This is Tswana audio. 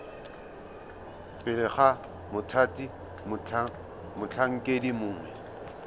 pele ga mothati motlhankedi mongwe